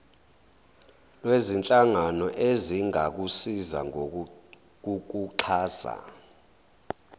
lwezinhlangano ezingakusiza ngokukuxhasa